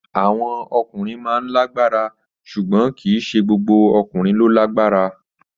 Àwọn ọkùnrin máa ń lágbára ṣùgbọ́n kì í ṣe gbogbo ọkùnrin ló lágbára.